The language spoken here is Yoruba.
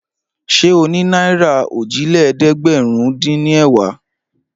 Ṣé o ní náírà òjìlélẹ́ẹ̀dẹ́gbẹ̀rúndínẹ̀wá?